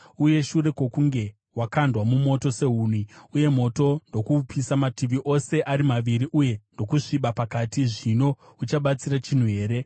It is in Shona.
Uye shure kwokunge wakandwa mumoto sehuni uye moto ndokuupisa mativi ose ari maviri uye ndokusviba pakati, zvino uchabatsira chinhu here?